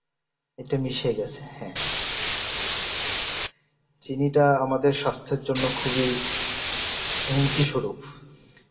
এটা মিশে গেছে হ্যাঁ চিনিটা আমাদের স্বাস্থ্যের জন্য খুবই হুমকিস্বরূপ